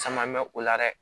Caman mɛ o la dɛ